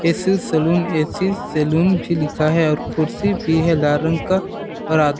AC saloon AC saloon भी लिखा है और खुर्सी भी है लाल रंग का और --